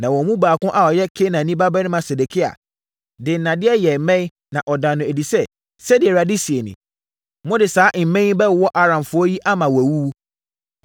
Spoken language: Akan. Na wɔn mu baako a ɔyɛ Kenaana babarima Sedekia de nnadeɛ yɛɛ mmɛn, na ɔdaa no adi sɛ, “Sɛdeɛ Awurade seɛ nie: Mode saa mmɛn yi bɛwowɔ Aramfoɔ yi ama wɔawuwu!”